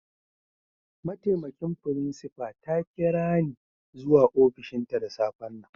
Ma'taimakin frincipa ta kira ni zuwa ofishin ta da safe'n nan.